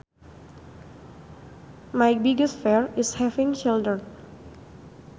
My biggest fear is having children